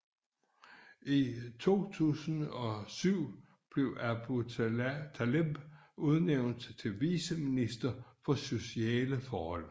I 2007 blev Aboutaleb udnævnt til viceminister for sociale forhold